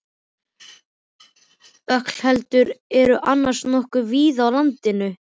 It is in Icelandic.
Ölkeldur eru annars nokkuð víða á landinu.